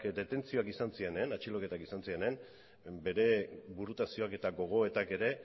atxiloketak izan zirenean bere burutazioak eta gogoetak ere